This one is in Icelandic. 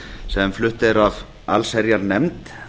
sem flutt er af allsherjarnefnd